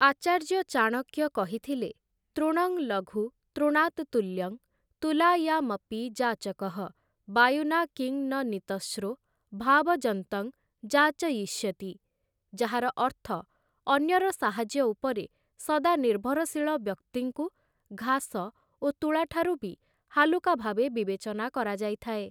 ଆଚାର୍ଯ୍ୟ ଚାଣକ୍ୟ କହିଥିଲେ, "ତୃଣଂ ଲଘୁ, ତୃଣାତ୍ ତୁଲ୍ୟଂ, ତୁଲାୟାମପି ଯାଚକଃ। ବାୟୁନା କିଂ ନ ନୀତଶ୍ରୋ, ଭାବଯନ୍ତଂ ଯାଚୟିଷ୍ୟତି।" ଯାହାର ଅର୍ଥ ଅନ୍ୟର ସାହାଯ୍ୟ ଉପରେ ସଦା ନିର୍ଭରଶୀଳ ବ୍ୟକ୍ତିଙ୍କୁ ଘାସ ଓ ତୂଳାଠାରୁ ବି ହାଲୁକା ଭାବେ ବିବେଚନା କରାଯାଇଥାଏ ।